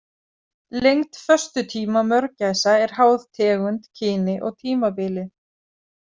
Lengd föstutíma mörgæsa er háð tegund, kyni og tímabili.